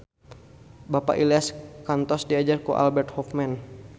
Bapak Ilyas kantos diajar ku Albert Hoffman